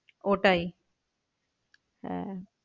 ওটাই হ্যাঁ